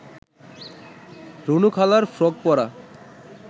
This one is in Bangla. রুনু খালার ফ্রক পরা